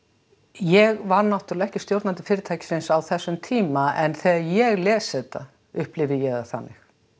ég var náttúrulega ekki stjórnandi fyrirtækisins á þessum tíma en þegar ég les þetta upplifi ég það þannig